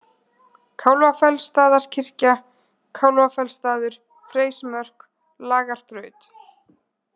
Kálfafellsstaðarkirkja, Kálfafellsstaður, Freysmörk, Lagarbraut